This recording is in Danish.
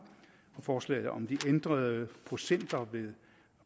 og forslaget om de ændrede procenter